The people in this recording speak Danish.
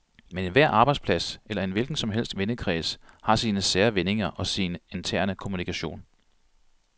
Men enhver arbejdsplads eller en hvilken som helst vennekreds har sine sære vendinger og sin interne kommunikation.